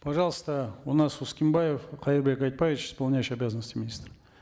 пожалуйста у нас ускенбаев кайырбек айтбаевич исполняющий обязанности министра